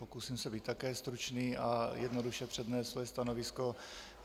Pokusím se být také stručný a jednoduše přednést svoje stanovisko.